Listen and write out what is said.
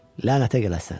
Lənətə gələsən!